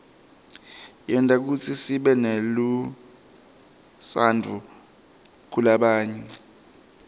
yenta kutsi sibenelutsaadvu kulabanye